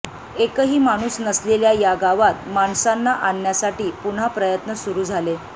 एकही माणूस नसलेल्या या गावात माणसांना आणण्यासाठी पुन्हा प्रयत्न सुरू झाले